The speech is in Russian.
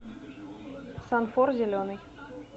санфор зеленый